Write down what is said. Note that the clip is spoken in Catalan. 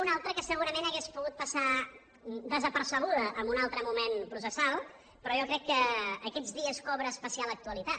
una altra que segurament hauria pogut passar desapercebuda en un altre moment processal però jo crec que aquests dies cobra especial actualitat